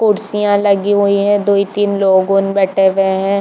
कुर्सियाँ लगी हुई है दुइ तीन लोगोन बैठे हुए है।